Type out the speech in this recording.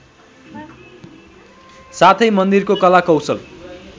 साथै मन्दिरको कलाकौशल